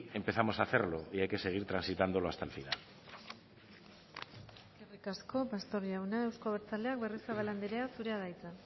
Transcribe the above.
empezamos a hacerlo y hay que seguir transitándolo hasta el final eskerrik asko pastor jauna euzko abertzaleak berriozabal anderea zurea da hitza